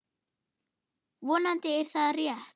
Vonandi er það rétt.